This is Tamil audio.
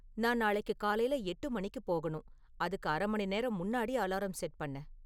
நான் நாளைக்கு காலையில எட்டு மணிக்கு போகணும் அதுக்கு அறை மணி நேரம் முன்னாடி அலாரம் செட் பண்ணு